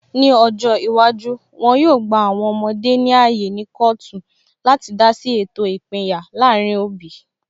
Ní ọjọ́ iwájú, wọn yóò gba àwọn ọmọdé ní ààyè ní kọọtu láti dá sí ètò ìpínyà láàrin òbí